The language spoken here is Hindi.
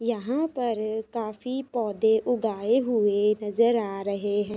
यहाँ पर काफ़ी पौधे उगाए हुए नजर आ रहे है।